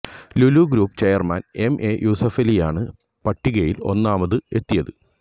Lulu group chairman M A യൂസഫലിയാണ് പട്ടികയില് ഒന്നാമത് എത്തിയത്